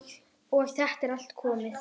Og þetta er allt komið.